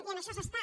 i en això s’està